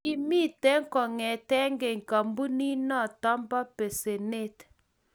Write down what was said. kimito kong'ete keny kampunito bo besenet.